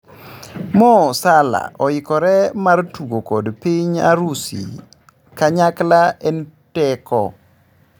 Mo Salah oyikore mar tugo kod piny Orusi"Kanyakla en teko.